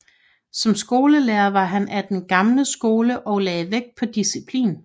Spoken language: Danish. Som skolelærer var han af den gamle skole og lagde vægt på disciplin